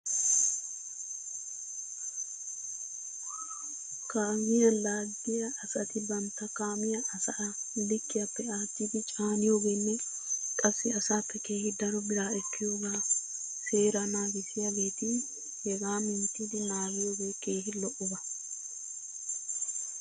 Kaamiyaa laaggiyaa asati bantta kaamiya asaa likkiyaappe aattidi caaniyoogeene qassi asaappe keehi daro biraa ekkiyoogaa seeraa naagissiyaageeti hegaa minttidi naagiyoogee keehi lo'oba.